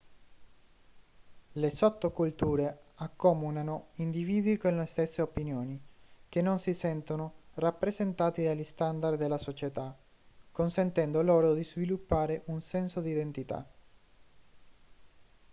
le sottoculture accomunano individui con le stesse opinioni che non si sentono rappresentanti dagli standard della società consentendo loro di sviluppare un senso di identità